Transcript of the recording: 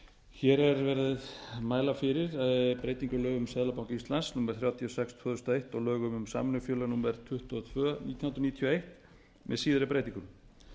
hér er verið að mæla fyrir breytingu á lögum um seðlabanka íslands númer þrjátíu og sex tvö þúsund og eins og lögum um samvinnufélög númer tuttugu og tvö nítján hundruð níutíu og eitt með síðari breytingum